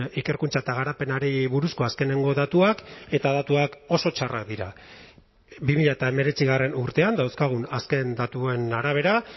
ikerkuntza eta garapenari buruzko azkeneko datuak eta datuak oso txarrak dira bi mila hemeretzi urtean dauzkagun azken datuen arabera